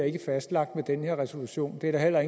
ikke er fastlagt med den her resolution det er der heller